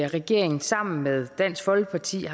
regeringen sammen med dansk folkeparti